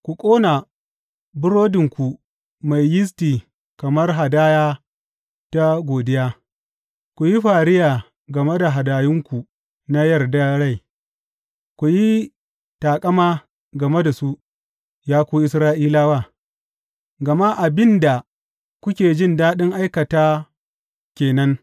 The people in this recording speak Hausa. Ku ƙona burodinku mai yisti kamar hadaya ta godiya, ku yi fariya game da hadayunku na yarda rai, ku yi taƙama game da su, ya ku Isra’ilawa, gama abin da kuke jin daɗin aikata ke nan,